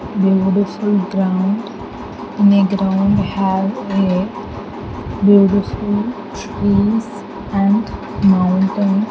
Beautiful ground in a ground have a beautiful trees and mountain.